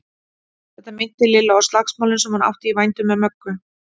Þetta minnti Lillu á slagsmálin sem hún átti í vændum með Möggu.